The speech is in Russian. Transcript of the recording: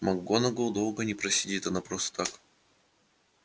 макгонагалл долго не просидит она просто так